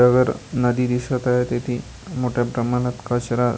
नदी दिसत आहे तिथे मोठ्या प्रमाणात कचरा--